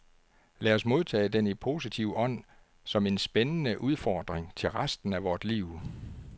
Lad os modtage den i positiv ånd som en spændende udfordring til resten af vort liv.